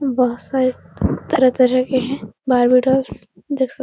बोहोत सारे तरह-तरह के हैं बेबी डॉल्स देख सक --